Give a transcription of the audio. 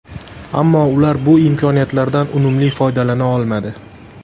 Ammo ular bu imkoniyatlardan unumli foydalana olmadi.